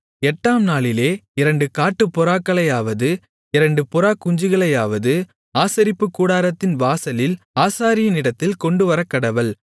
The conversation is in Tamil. எட்டாம்நாளிலே இரண்டு காட்டுப்புறாக்களையாவது இரண்டு புறாக்குஞ்சுகளையாவது ஆசரிப்புக்கூடாரத்தின் வாசலில் ஆசாரியனிடத்தில் கொண்டுவரக்கடவள்